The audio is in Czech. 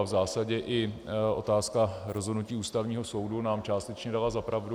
A v zásadě i otázka rozhodnutí Ústavního soudu nám částečně dala za pravdu.